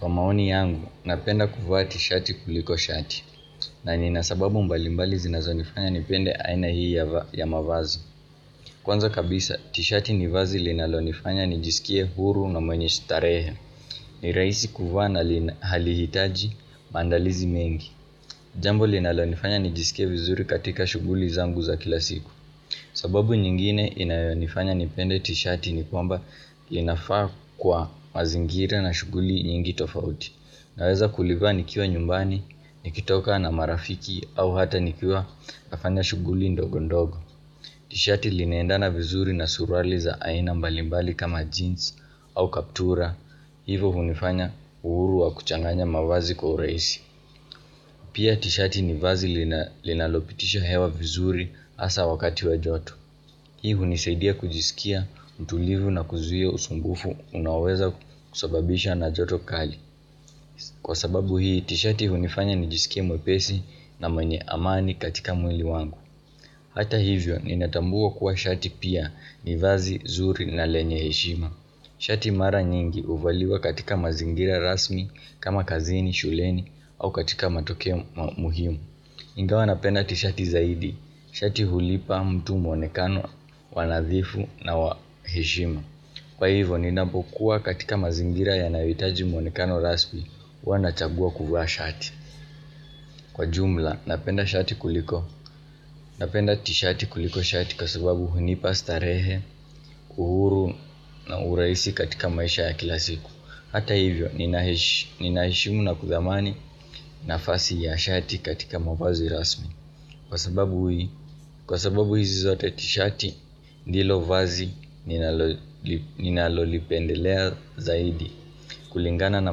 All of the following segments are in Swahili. Kwa maoni yangu, napenda kuvaa t-shati kuliko shati. Na nina sababu mbalimbali zinazonifanya nipende aina hii ya mavazi. Kwanza kabisa, t-shati ni vazi linalonifanya nijisikie huru na mwenye starehe ni rahisi kuvaa na halihitaji maandalizi mengi Jambo linalonifanya nijisikie vizuri katika shughuli zangu za kila siku. Sababu nyingine inayonifanya nipende t-shati ni kwamba Linafaa kwa mazingira na shughuli nyingi tofauti. Naweza kulivaa nikiwa nyumbani, nikitoka na marafiki au hata nikiwa nafanya shughuli ndogo ndogo. Tishati linaendana vizuri na suruali za aina mbalimbali kama jeans au kaptura. Hivo hunifanya uhuru wa kuchanganya mavazi kwa urahisi Pia tishati ni vazi linalopitisha hewa vizuri hasa wakati wa joto Hii hunisaidia kujisikia mtulivu na kuzuia usumbufu unaoweza kusababisha na joto kali. Kwa sababu hii tishati hunifanya nijisikie mwepesi na mwenye amani katika mwili wangu. Hata hivyo ninatambua kuwa shati pia ni vazi, zuri na lenye heshima. Shati mara nyingi huvaliwa katika mazingira rasmi kama kazini, shuleni au katika matokeo muhimu Ingawa napenda tishati zaidi, shati hulipa mtu mwonekano wa nadhifu na wa heshima. Kwa hivyo ninapokuwa katika mazingira yanayohitaji mwonekano rasmi, huwa nachagua kuvaa shati. Kwa jumla napenda shati kuliko Napenda tishati kuliko shati kwa sababu hunipa starehe, uhuru na urahisi katika maisha ya kila siku. Hata hivyo ninaheshimu na kuthamani nafasi ya shati katika mavazi rasmi. Kwa sababu hizi zote tishati ndilo vazi ninalolipendelea zaidi. Kulingana na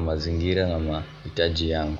mazingira na mahitaji yangu.